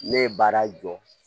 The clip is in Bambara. Ne ye baara jɔ